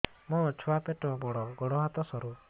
ମୋ ଛୁଆ ପେଟ ବଡ଼ ଗୋଡ଼ ହାତ ସରୁ